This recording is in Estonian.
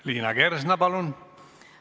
Liina Kersna, palun!